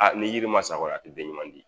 Aa ni yiri ma sa kɔni i ti den ɲuman di